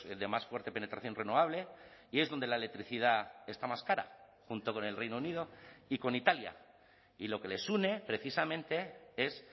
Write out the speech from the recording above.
de más fuerte penetración renovable y es donde la electricidad está más cara junto con el reino unido y con italia y lo que les une precisamente es